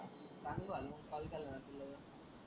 चांगलं झाला ना मग कॉल केला ना तुला.